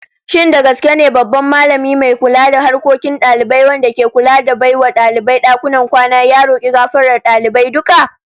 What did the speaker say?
Shin da gaske ne babban Mallami mai kula da harkokin dalibai wanda ke kula da bai wa dalibai dakunan kwana, ya roki gafarar dalibai duka?